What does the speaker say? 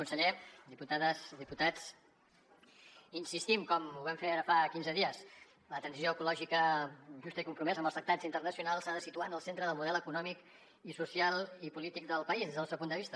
conseller diputades i diputats hi insistim com ho vam fer ara fa quinze dies la transició ecològica justa i compromesa amb els tractats internacionals s’ha de situar en el centre del model econòmic i social i polític del país des del nostre punt de vista